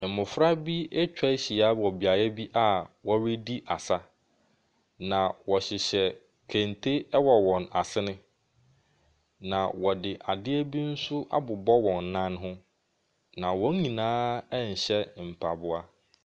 Mmɔfra bi atwa ahyia wɔ beebi a wɔredi asa. Na wɔhyehyɛ kente ɛwɔ wɔn asene, na wɔde adeɛ bi nso abobɔ wɔn nan ho. Na wɔn nyinaa ɛnhyɛ mpaboa.